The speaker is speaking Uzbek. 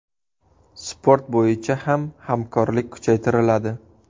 Sport bo‘yicha ham hamkorlik kuchaytiriladi.